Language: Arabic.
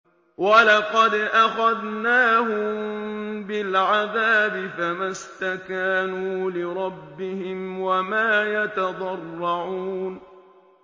وَلَقَدْ أَخَذْنَاهُم بِالْعَذَابِ فَمَا اسْتَكَانُوا لِرَبِّهِمْ وَمَا يَتَضَرَّعُونَ